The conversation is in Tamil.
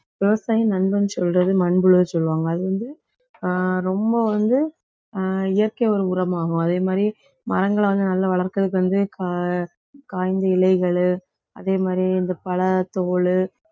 விவசாயி நண்பன் சொல்றது மண்புழுவை சொல்லுவாங்க. அது வந்து ஆஹ் ரொம்ப வந்து ஆஹ் இயற்கை ஒரு உரமாகும். அதே மாதிரி மரங்களை வந்து நல்லா வளர்க்கறதுக்கு வந்து காய்~ காய்ந்த இலைகள் அதே மாதிரி இந்த பழத்தோல்